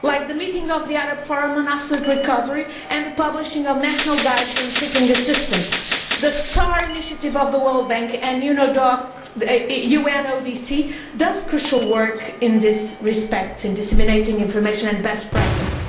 Like the meeting of the Arab Forum on Asset Recovery and the publishing of national guides on seeking assistance, the StAR initiative of the World Bank and UNODC does crucial work in this respect in disseminating information and best practice.